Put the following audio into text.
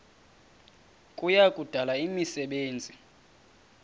kuya kudala imisebenzi